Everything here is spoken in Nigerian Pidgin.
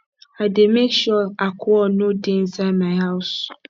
i dey make sure alcohol no dey inside my house